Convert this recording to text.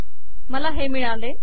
मला हे मिळाले